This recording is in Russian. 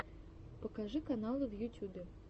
покажи каналы в ютюбе